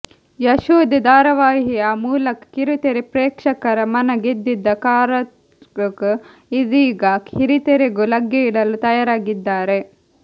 ಯಶೋಧೆ ಧಾರಾವಾಹಿಯ ಮೂಲಕ ಕಿರುತೆರೆ ಪ್ರೇಕ್ಷಕರ ಮನ ಗೆದ್ದಿದ್ದ ಕಾತರ್ಿಕ್ ಇದೀಗ ಹಿರಿತೆರೆಗೂ ಲಗ್ಗೆಯಿಡಲು ತಯಾರಾಗಿದ್ದಾರೆ